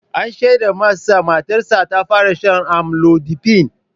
An shaida mas matarsa ta fara shan amlodipine.